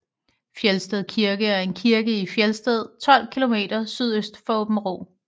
Felsted Kirke er en kirke i Felsted 12 kilometer sydøst for Aabenraa